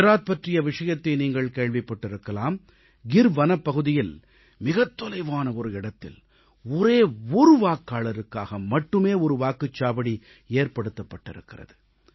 குஜராத் பற்றிய விஷயத்தை நீங்கள் கேள்விப்பட்டிருக்கலாம் கிர் வனப்பகுதியில் மிகத் தொலைவான ஒரு இடத்தில் ஒரே ஒரு வாக்காளருக்காக மட்டுமே ஒரு வாக்குச்சாவடி ஏற்படுத்தப்பட்டிருக்கிறது